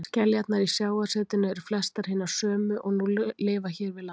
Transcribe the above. Skeljarnar í sjávarsetinu eru flestar hinar sömu og nú lifa hér við land.